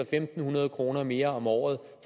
fem hundrede kroner mere om året